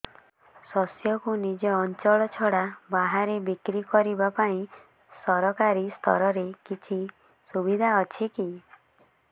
ଶସ୍ୟକୁ ନିଜ ଅଞ୍ଚଳ ଛଡା ବାହାରେ ବିକ୍ରି କରିବା ପାଇଁ ସରକାରୀ ସ୍ତରରେ କିଛି ସୁବିଧା ଅଛି କି